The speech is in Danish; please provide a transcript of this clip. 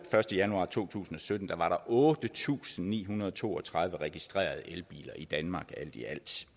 første januar to tusind og sytten var der otte tusind ni hundrede og to og tredive registrerede elbiler i danmark alt i